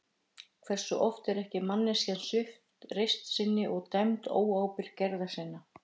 Hversu oft er ekki manneskjan svipt reisn sinni og dæmd óábyrg gerða sinna?